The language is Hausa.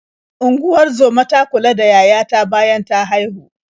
Unguzomar ta kula da yaya ta bayan ta haihu.